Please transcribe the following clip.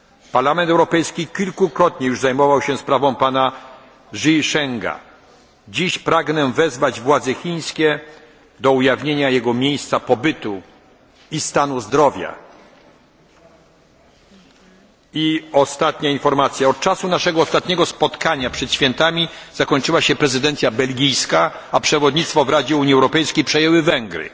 Parlament Europejski kilkakrotnie już zajmował się sprawą pana Zhishenga. Dziś pragnę wezwać władze chińskie do ujawnienia miejsca jego pobytu i stanu zdrowia. Ostatnia informacja od czasu naszego ostatniego spotkania przed świętami zakończyła się prezydencja belgijska, a przewodnictwo w Radzie Unii Europejskiej przejęły Węgry.